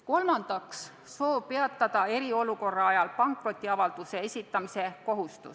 Kolmandaks, soov peatada eriolukorra ajal pankrotiavalduse esitamise kohustus.